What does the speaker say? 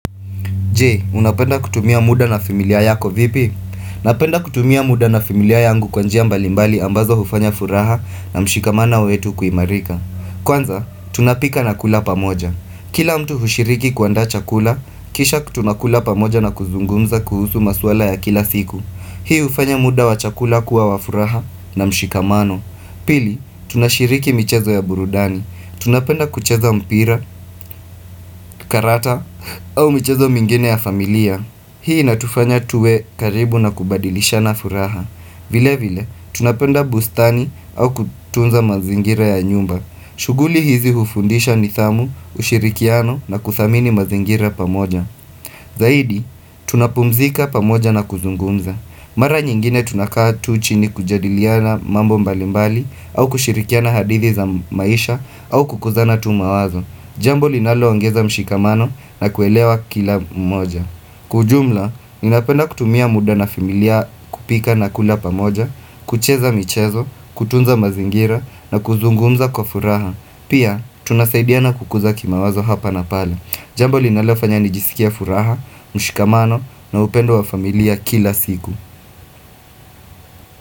Jee, unapenda kutumia muda na familia yako vipi? Napenda kutumia muda na familia yangu kwanjia mbalimbali ambazo ufanya furaha na mshikamana wetu kuimarika. Kwanza, tunapika na kula pamoja. Kila mtu hushiriki kuanda chakula, kisha kutunakula pamoja na kuzungumza kuhusu maswala ya kila siku. Hii ufanya muda wa chakula kuwa wafuraha na mshikamano. Pili, tunashiriki michezo ya burudani. Tunapenda kucheza mpira, karata au mchezo mingine ya familia Hii natufanya tuwe karibu na kubadilisha na furaha vile vile, tunapenda bustani au kutunza mazingira ya nyumba shuguli hizi ufundisha ni thamu, ushirikiano na kuthamini mazingira pamoja Zaidi, tunapumzika pamoja na kuzungunza Mara nyingine tunakaa tu chini kujadiliana mambo mbalimbali au kushirikia na hadithi za maisha au kukuzana tumawazo. Jambo linaloangeza mshikamano na kuelewa kila mmoja. Kujumla, ninapenda kutumia muda na familia kupika na kula pamoja, kucheza michezo, kutunza mazingira na kuzungumza kwa furaha. Pia, tunasaidia na kukuza kima wazo hapa na pala. Jambo linalofanya nijisikia furaha, mshikamano na upendo wa familia kila siku.